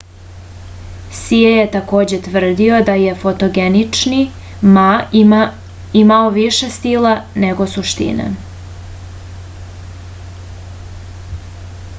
sije je takođe tvrdio da je fotogenični ma imao više stila nego suštine